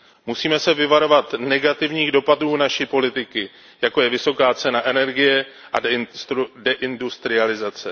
Musíme se vyvarovat negativních dopadů naší politiky, jako je vysoká cena energie a deindustrializace.